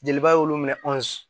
Jeliba y'olu minɛ